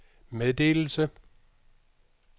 meddelelse